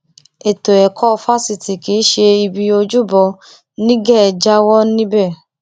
ètò ẹkọ fásitì kì í ṣe ibi ojúbọ nígẹ jáwọ níbẹ